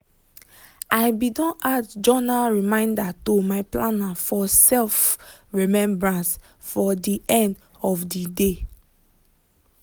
i be don add journal reminder to my planner for self-remebrance for de end of de dey.